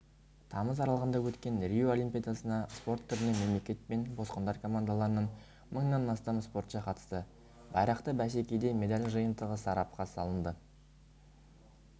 тамыз аралығында өткен рио олимпиадасына спорт түрінен мемлекет пен босқындар командаларынан мыңнан астам спортшы қатысты байрақты бәсекеде медаль жиынтығы сарапқа салынды